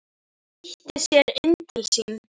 Flýtti sér inn til sín.